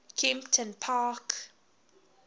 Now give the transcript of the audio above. kemptonpark